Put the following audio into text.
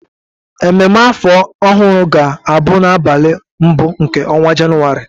Ememe afọ ọhụrụ ga-abụ n'abalị mbụ nke ọnwa Jenụwarị